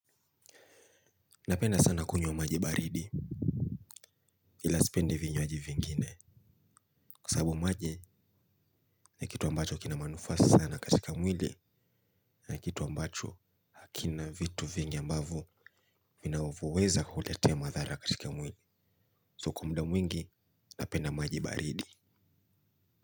Napenda sana kunywa maji baridi ila sipendi vinywaji vingine. Kwa sababu maji ni kitu ambacho kina manufaa sana katika mwili na kitu ambacho hakina vitu vingi ambavo vinavo weza kuletea madhara katika mwili so kwa muda mwingi napenda maji baridi.